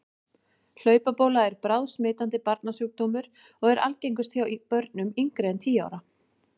Hlaupabóla er bráðsmitandi barnasjúkdómur og er algengust hjá börnum yngri en tíu ára.